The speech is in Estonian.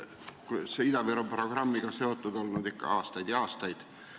Olen ise Ida-Viru programmiga seotud olnud ikka aastaid ja aastaid.